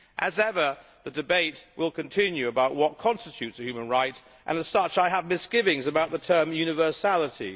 As ever, the debate will continue about what constitutes a human right and, as such, I have misgivings about the term universality.